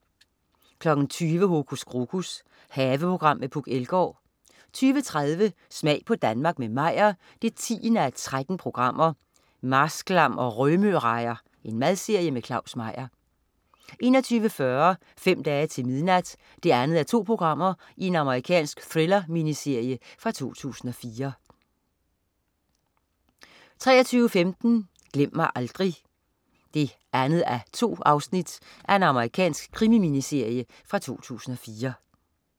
20.00 Hokus Krokus. Haveprogram med Puk Elgård 20.30 Smag på Danmark med Meyer 10:13. "Marsklam og Rømørejer". Madserie med Claus Meyer 21.40 Fem dage til midnat 2:2. Amerikansk thriller-miniserie fra 2004 23.15 Glem mig aldrig 2:2. Amerikansk krimi-minserie fra 2004